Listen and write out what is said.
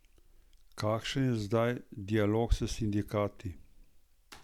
Kakšen je zdaj dialog s sindikati?